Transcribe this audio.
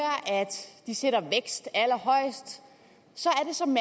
de sætter vækst allerhøjest så